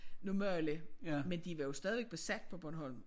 Normale men de var jo stadigvæk besat på Bornholm